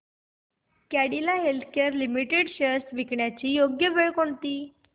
Cadila healthcare limited shares विकण्याची योग्य वेळ कोणती